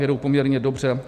Jedou poměrně dobře.